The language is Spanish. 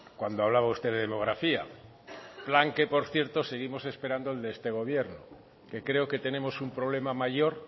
cuando hablaba usted de demografía plan que por cierto seguimos esperando al de este gobierno que creo que tenemos un problema mayor